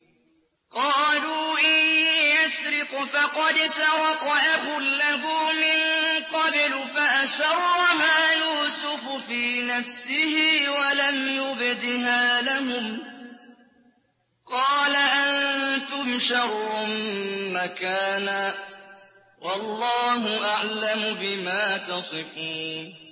۞ قَالُوا إِن يَسْرِقْ فَقَدْ سَرَقَ أَخٌ لَّهُ مِن قَبْلُ ۚ فَأَسَرَّهَا يُوسُفُ فِي نَفْسِهِ وَلَمْ يُبْدِهَا لَهُمْ ۚ قَالَ أَنتُمْ شَرٌّ مَّكَانًا ۖ وَاللَّهُ أَعْلَمُ بِمَا تَصِفُونَ